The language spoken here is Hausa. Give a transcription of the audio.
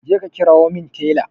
Jeka ka kirawo min Talle.